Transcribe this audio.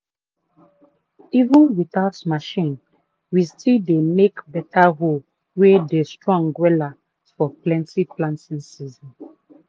even without machine we still dey make beta hoe wey dey strong wela for plenty planting season